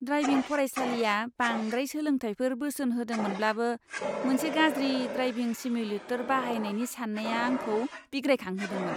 Driving फरायसालिया बांद्राय सोलोंथायफोर बोसोन होदोंमोनब्लाबो, मोनसे गाज्रि ड्राइभिं सिम्युलेटर बाहायनायनि साननाया आंखौ बिग्रायखांहोदोंमोन!